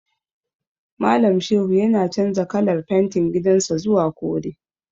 Malam Shehu yana canza kalar fentin gidan sa zuwa kore.